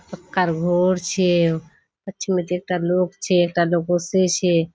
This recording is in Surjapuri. पक्कार घोर छे पिछूपीती एकता लोक छे एकटा लोक ओसछे।